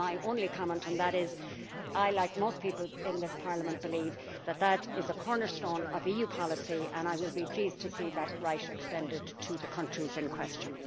My only comment on that is that I like most people in this Parliament believe that this is a cornerstone of EU policy and I will be pleased to see that right extended to the countries in question.